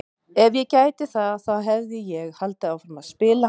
Ef ég gæti það þá hefði ég haldið áfram að spila!